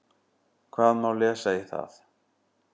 Hvað má lesa í það?